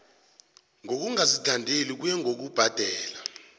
ngokungazithandeli kuye ngokubhadela